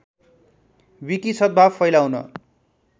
wiki सद्‌भाव फैलाउन